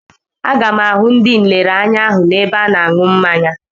Aga m ahụ ndị nlereanya ahụ n'ebe a na-aṅụ mmanya.